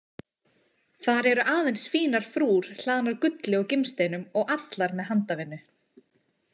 Þar eru aðeins fínar frúr hlaðnar gulli og gimsteinum og allar með handavinnu.